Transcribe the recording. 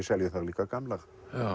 selja líka gamlar